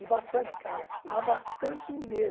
E bastante casa, mas bastante